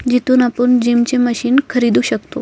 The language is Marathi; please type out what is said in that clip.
जिथून आपूण जिमची मशीन खरीदू शकतो.